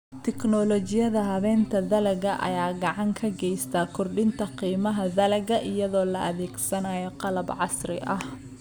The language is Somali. Tiknoolajiyada habaynta dalagga ayaa gacan ka geysta kordhinta qiimaha dalagga iyadoo la adeegsanayo qalab casri ah.